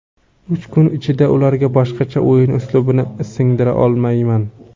Uch kun ichida ularga boshqacha o‘yin uslubini singdira olmayman.